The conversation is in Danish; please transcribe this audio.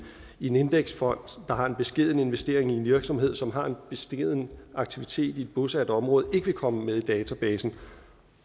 en indeksfond der har en beskeden investering i en virksomhed som har en beskeden aktivitet i et bosat område ikke vil komme med i databasen